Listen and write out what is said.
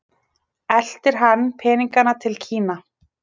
Eltir hann peninganna til Kína?